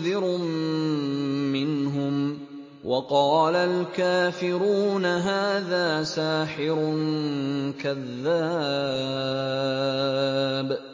مُّنذِرٌ مِّنْهُمْ ۖ وَقَالَ الْكَافِرُونَ هَٰذَا سَاحِرٌ كَذَّابٌ